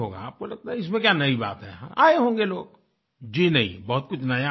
आपको लगता है इसमें क्या नई बात हैआये होंगे लोग जी नहीं बहुत कुछ नया है